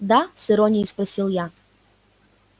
да с иронией спросил я